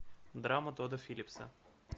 драма тодда филлипса